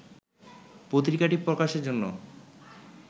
পত্রিকাটি প্রকাশের জন্য